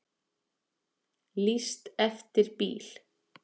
Lýst eftir bíl